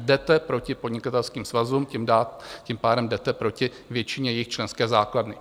Jdete proti podnikatelským svazům, tím pádem jdete proti většině jejich členské základny.